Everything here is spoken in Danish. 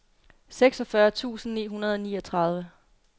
seksogfyrre tusind ni hundrede og niogtredive